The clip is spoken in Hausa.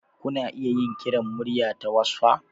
Kuna iya yin kiran murya ta wassaf.